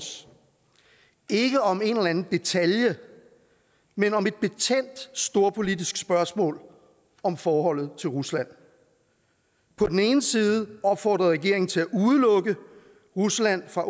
ikke om en eller anden detalje men om et betændt storpolitisk spørgsmål om forholdet til rusland på den ene side opfordrede regeringen til at udelukke rusland fra